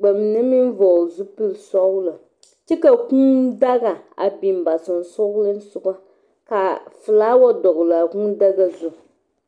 ba mine meŋ vɔgele zupeli sɔgelɔ kyɛ ka kûû daga a biŋ ba sonsoŋeleŋ soga kaa flower dɔgele a kûū daga zu